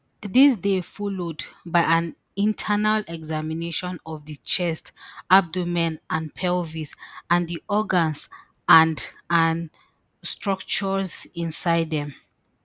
dis dey followed by an internal examination of di chest abdomen and pelvis and di organs and and structures inside dem